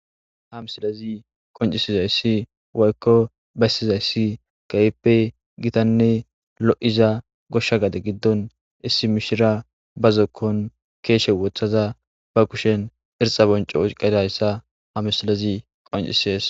Ha misilezi qonccisida issi woykko besida issi besidane lo'iza gosha gade gidon issi mishira bazo giddon keshe wotada ba kushen irxa bonco oyiqqida isa ha misilezi beeses.